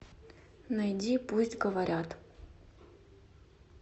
найди пусть говорят